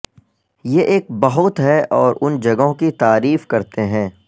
یہ ایک بہت ہے اور ان جگہوں کی تعریف کرتے ہیں